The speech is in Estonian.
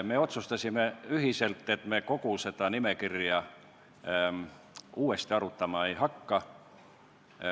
Me otsustasime ühiselt, et me kogu nimekirja uuesti arutama ei hakka.